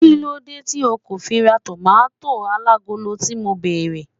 kilode ti o ko fi ra tomato alagolo ti mo bere